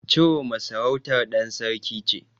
Chiroma sarautar ɗan sarki ce.